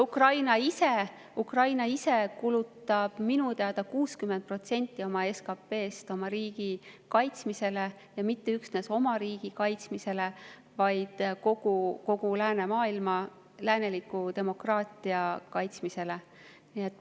Ukraina ise kulutab minu teada 60% oma SKP‑st oma riigi kaitsmisele, ja mitte üksnes oma riigi kaitsmisele, vaid kogu läänemaailma, lääneliku demokraatia kaitsmisele.